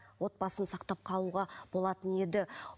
отбасын сақтап қалуға болатын еді